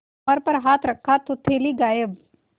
कमर पर हाथ रखा तो थैली गायब